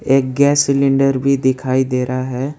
एक gas cylinder भी दिखाई दे रहा है।